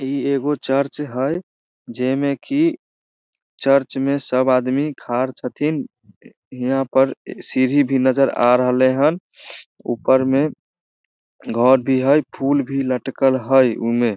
इ एगो चर्च हई जे में की चर्च में सब आदमी खाड़ छथिन इहाँ पर सीढ़ी भी नजर आ रहले हन ऊपर में घर भी हई फूल भी लटकल हई उमे।